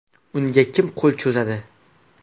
Unga kim qo‘l cho‘zadi?.